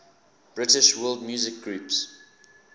british world music groups